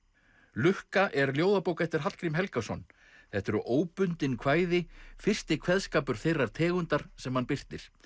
lukka er ljóðabók eftir Hallgrím Helgason þetta eru óbundin kvæði fyrsti kveðskapur þeirrar tegundar sem hann birtir